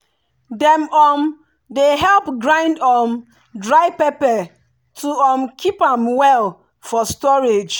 dem um dey help grind um dry pepper to um keep am well for storage.